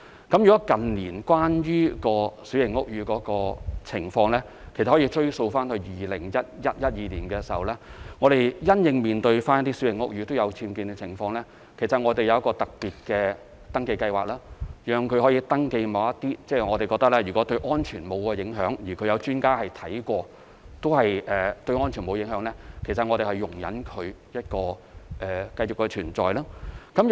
近年關於小型屋宇的情況，其實可以追溯至2011年、2012年，因應小型屋宇僭建的情況，我們有一項特別的登記計劃，由業主向屋宇署申報其僭建物，如果我們認為有關僭建物對安全沒有影響，而專家視察過也認為對安全沒有影響，我們會容忍它繼續存在。